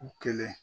U kelen